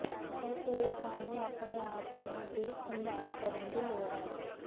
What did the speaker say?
ਇਸ ਲਈ ਤੁਹਾਨੂੰ ਆਪਣੇ ਆਪ ਨੂੰ ਦੀ ਸੰਭਾਲ ਕਰਨ ਦੀ ਲੋੜ ਹੈ